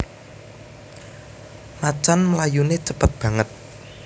Macan mlayuné cépet banget